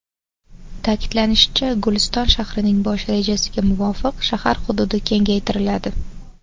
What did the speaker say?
Ta’kidlanishicha, Guliston shahrining bosh rejasiga muvofiq shahar hududi kengaytiriladi.